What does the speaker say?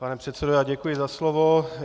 Pane předsedo, já děkuji za slovo.